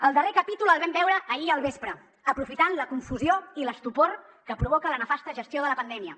el darrer capítol el vam veure ahir al vespre aprofitant la confusió i l’estupor que provoca la nefasta gestió de la pandèmia